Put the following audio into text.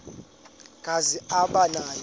kazi aba nawo